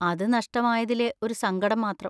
അത് നഷ്ടമായതിലെ ഒരു സങ്കടം മാത്രം.